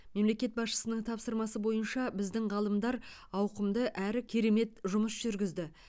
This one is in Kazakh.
мемлекет басшысының тапсырмасы бойынша біздің ғалымдар ауқымды әрі керемет жұмыс жүргізді